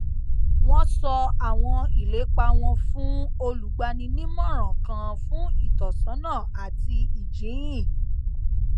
wọn sọ àwọn ìlépa wọn fún olùgbaninímọràn kan fún ìtọsọnà àti ìjíhìn